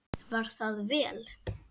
Var það vel.